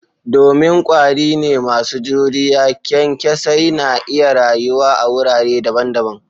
Domin kwari ne masu juriya, kyankyasai na iya rayuwa a wurare daban-daban.